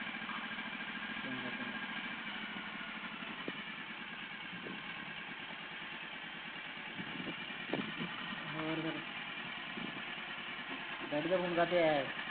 ਹੋਰ ਫੇਰ ਡੈਡੀ ਦਾ ਫੋਨ ਕਾਹਤੇ ਆਇਆ